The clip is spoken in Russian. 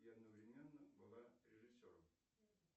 и одновременно была режиссером